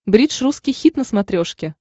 бридж русский хит на смотрешке